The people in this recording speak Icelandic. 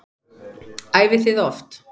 Æfið þið oft?